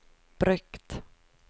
brukt